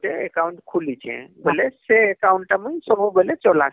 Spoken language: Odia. ଗୁଟେ account ଖୁଲିଛେ ବୋଇଲେ ସେ ଟା ମୁଇଁ ସବୁବେଲେ ଚଲାସି